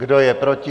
Kdo je proti?